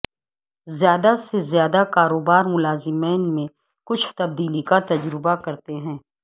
زیادہ سے زیادہ کاروبار ملازمین میں کچھ تبدیلی کا تجربہ کرتے ہیں